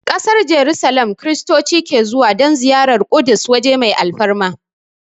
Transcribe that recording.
Ƙasar Jarusalim Kiristoci ke zuwa don ziyarar Ƙudus waje mai alfarma